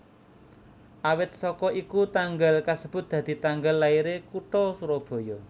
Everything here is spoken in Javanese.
Awit saka iku tanggal kasebut dadi tanggal lairé kutha Surabaya